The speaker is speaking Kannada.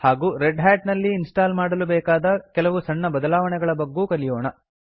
ಹಾಗೂ ರೆಡ್ ಹಾಟ್ ನಲ್ಲಿ ಇನ್ಸ್ಟಾಲ್ ಮಾಡಲು ಬೇಕಾದ ಕೆಲವು ಸಣ್ಣ ಬದಲಾವಣೆಗಳ ಬಗ್ಗೂ ಕಲಿಯೋಣ